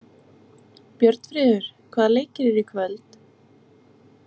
Björnfríður, hvaða leikir eru í kvöld?